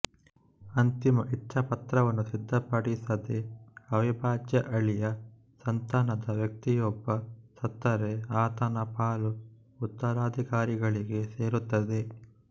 ಅಂತಿಮ ಇಚ್ಛಾಪತ್ರವನ್ನು ಸಿದ್ಧಪಡಿಸದೆ ಅವಿಭಾಜ್ಯ ಅಳಿಯ ಸಂತಾನದ ವ್ಯಕ್ತಿಯೊಬ್ಬ ಸತ್ತರೆ ಆತನ ಪಾಲು ಉತ್ತರಾಧಿಕಾರಿಗಳಿಗೆ ಸೇರುತ್ತದೆ